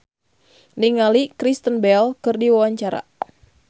Ananda Rusdiana olohok ningali Kristen Bell keur diwawancara